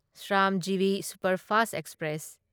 Shramjeevi superfast express